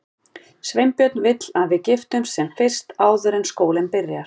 Sveinbjörn vill að við giftumst sem fyrst, áður en skólinn byrjar.